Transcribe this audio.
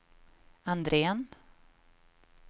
Andrén